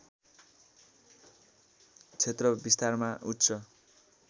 क्षेत्र विस्तारमा उच्च